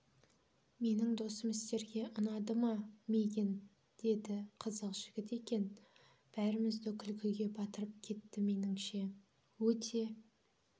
менің досым сіздерге ұнады ма мигэн деді қызық жігіт екен бәрімізді күлкіге батырып кетті меніңше өте